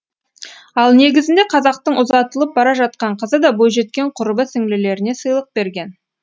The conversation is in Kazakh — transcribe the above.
ал негізінде қазақтың ұзатылып бара жатқан қызы да бойжеткен құрбы сіңлілеріне сыйлық берген